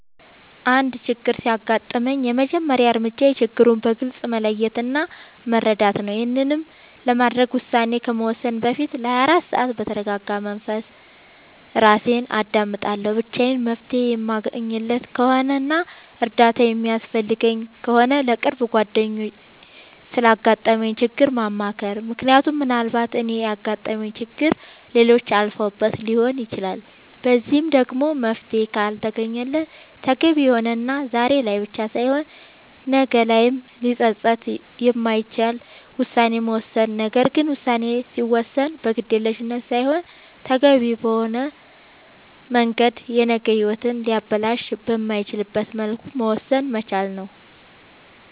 አንድ ችግር ሲያጋጥመኝ የመጀመሪያ እርምጃዬ ችግሩን በግልፅ መለየት እና መረዳት ነዉ ይሄንንም ለማድረግ ውሳኔ ከመወሰኔ በፊት ለ24 ሰዓት በተርጋጋ መንፈስ እራሴን አዳምጣለሁ ብቻዬን መፍትሄ የማለገኝለት ከሆነና እርዳታ የሚያስፈልገኝ ከሆነ ለቅርብ ጓደኛዬ ስላጋጠመኝ ችግር ማማከር ምክንያቱም ምናልባት እኔ ያጋጠመኝን ችግር ሌሎች አልፈውበት ሊሆን ይችላል በዚህም ደግሞ መፍትሄ ካልተገኘለት ተገቢ የሆነና ዛሬ ላይ ብቻ ሳይሆን ነገ ላይም ሊፀፅት የማይችል ውሳኔን መወሰን ነገር ግን ውሳኔ ሲወሰን በግዴለሽነት ሳይሆን ተገቢውን በሆነ መንገድ የነገ ሂወትን ሊያበላሽ በማይችልበት መልኩ መወሰን መቻል ነዉ